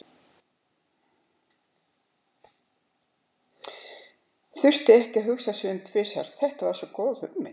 Þurfti ekki að hugsa sig um tvisvar, þetta var svo góð hugmynd.